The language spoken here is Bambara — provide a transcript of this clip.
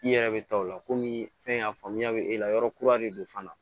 I yɛrɛ bɛ taa o la komi fɛn a faamuya bɛ e la yɔrɔ kura de don fana